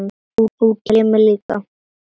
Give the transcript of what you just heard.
Þú kemur líka.